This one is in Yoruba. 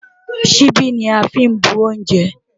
Ṣíbí ni a fí ń bu oúnjẹ.